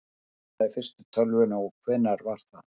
hver smíðaði fyrstu tölvuna og hvenær var það